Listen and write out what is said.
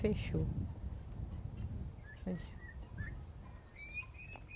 Fechou. Fechou.